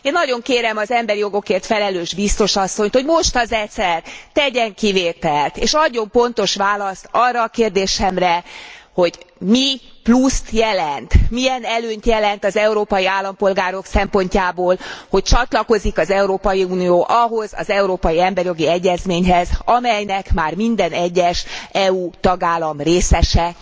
Én nagyon kérem az emberi jogokért felelős biztos asszonyt, hogy most az egyszer tegyen kivételt, és adjon pontos választ arra a kérdésemre, hogy mi pluszt jelent, milyen előnyt jelent az európai polgárok szempontjából, hogy csatlakozik az Európai Unió ahhoz az európai emberi jogi egyezményhez, amelynek már minden egyes EU tagállam részese.